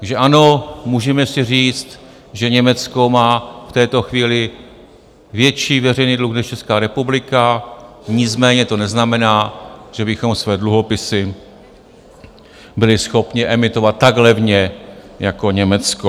Takže ano, můžeme si říct, že Německo má v této chvíli větší veřejný dluh než Česká republika, nicméně to neznamená, že bychom své dluhopisy byli schopni emitovat tak levně jako Německo.